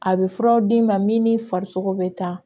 A bɛ furaw d'i ma min ni farisogo bɛ ta